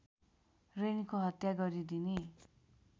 रेणुको हत्या गरिदिने